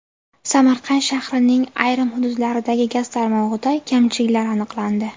Samarqand shahrining ayrim hududlaridagi gaz tarmog‘ida kamchiliklar aniqlandi.